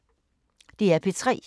DR P3